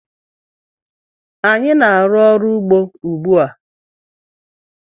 Anyị na-aru ọrụ ugbó ugbu a.